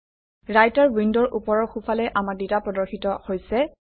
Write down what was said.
writer উইণ্ডৰ ওপৰৰ সোঁফালে আমাৰ ডাটা প্ৰদৰ্শিত হৈছে